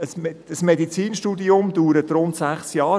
Ein Medizinstudium dauert rund sechs Jahre.